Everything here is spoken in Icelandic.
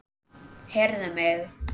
Heyrðu mig.